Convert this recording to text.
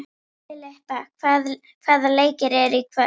Filippa, hvaða leikir eru í kvöld?